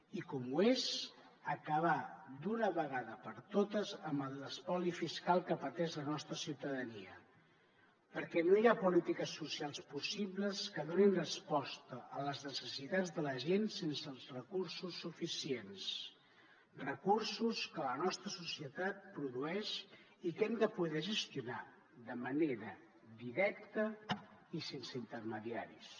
i com ho és acabar d’una vegada per totes amb l’espoli fiscal que pateix la nostra ciutadania perquè no hi ha polítiques socials possibles que donin resposta a les necessitats de la gent sense els recursos suficients recursos que la nostra societat produeix i que hem de poder gestionar de manera directa i sense intermediaris